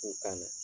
K'u kana